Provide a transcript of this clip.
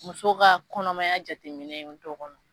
Muso ka kɔnɔmaya jateminɛ dɔ kɔnɔ